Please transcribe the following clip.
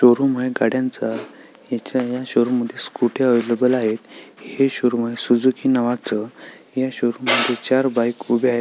showroom आहे गाड्या च हिच्या शोरूम मध्ये स्कुट्या अव्हेलेबल आहेत हे शोरूम आहे सुझुकी नावाच ह्या शोरूम मध्ये चार बाइक उभ्या--